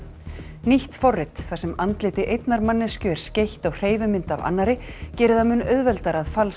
nýtt forrit þar sem andliti einnar manneskju er skeytt á hreyfimynd af annarri gerir það mun auðveldara að falsa